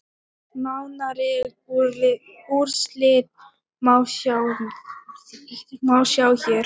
Nánari úrslit má sjá hér.